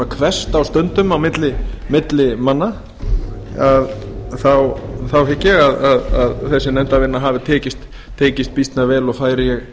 hvesst á stundum á milli manna þá hygg ég að þessi nefndarvinna hafi tekist býsna vel og færi ég